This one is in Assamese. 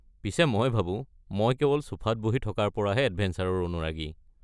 পিছে মই ভাবো মই কেৱল ছোফাত বহি থকাৰ পৰাহে এডভেঞ্চাৰৰ অনুৰাগী!